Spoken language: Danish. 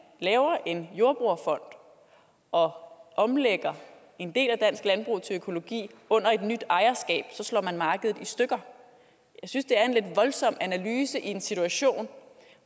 laver en jordbrugerfond og omlægger en del af dansk landbrug til økologi under et nyt ejerskab så slår man markedet i stykker jeg synes det er en lidt voldsom analyse i en situation